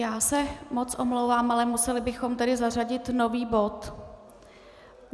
Já se moc omlouvám, ale museli bychom tedy zařadit nový bod.